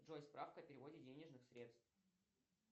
джой справка о переводе денежных средств